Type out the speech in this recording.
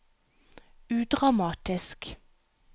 udramatisk